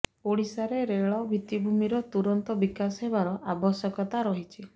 ଓଡିଶାରେ ରେଳ ଭିତ୍ତିଭୂମିର ତୁରନ୍ତ ବିକାଶ ହେବାର ଆବଶ୍ୟକତା ରହିଛି